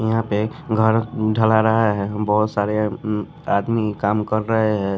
यहां पे घर ढला रहा है बहुत सारे आदमी काम कर रहे हैं।